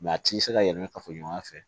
a t'i se ka yɛlɛ kafo ɲɔgɔnya fɛ